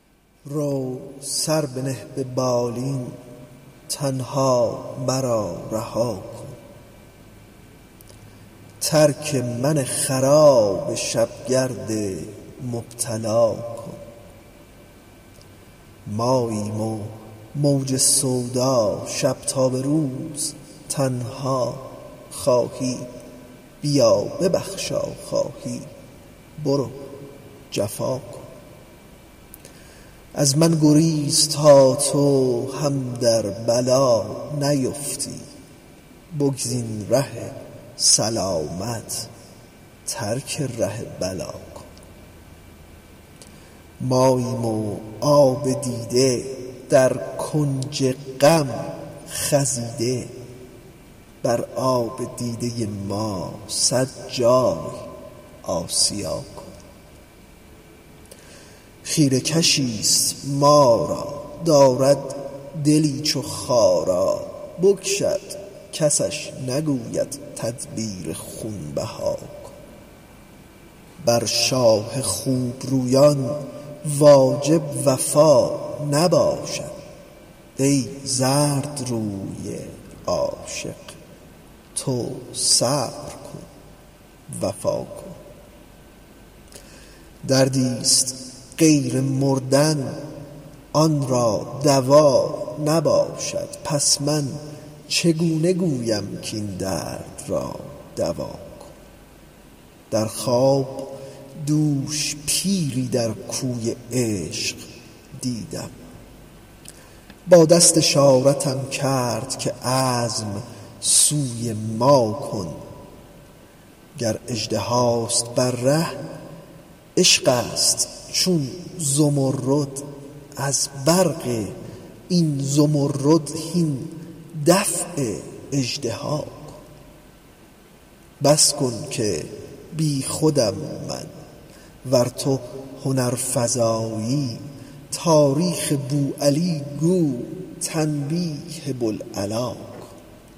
رو سر بنه به بالین تنها مرا رها کن ترک من خراب شب گرد مبتلا کن ماییم و موج سودا شب تا به روز تنها خواهی بیا ببخشا خواهی برو جفا کن از من گریز تا تو هم در بلا نیفتی بگزین ره سلامت ترک ره بلا کن ماییم و آب دیده در کنج غم خزیده بر آب دیده ما صد جای آسیا کن خیره کشی ست ما را دارد دلی چو خارا بکشد کسش نگوید تدبیر خون بها کن بر شاه خوب رویان واجب وفا نباشد ای زردروی عاشق تو صبر کن وفا کن دردی ست غیر مردن آن را دوا نباشد پس من چگونه گویم کاین درد را دوا کن در خواب دوش پیری در کوی عشق دیدم با دست اشارتم کرد که عزم سوی ما کن گر اژدهاست بر ره عشقی ست چون زمرد از برق این زمرد هین دفع اژدها کن بس کن که بی خودم من ور تو هنرفزایی تاریخ بوعلی گو تنبیه بوالعلا کن